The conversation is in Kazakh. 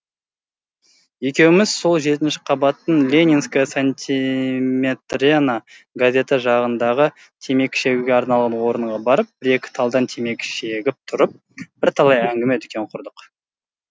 екеуміз сол жетінші қабаттың ленинская сантиметрена газеті жағындағы темекі шегуге арналған орынға барып бір екі талдан темекі шегіп тұрып бірталай әңгіме дүкен құрдық